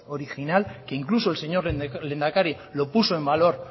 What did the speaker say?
original que incluso el señor lehendakari lo puso en valor